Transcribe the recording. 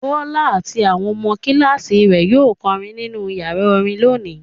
Bọ́lá àti àwọn ọmọ kíláàsì rẹ̀ yóò kọrin nínú ìyàrá orin lónìí.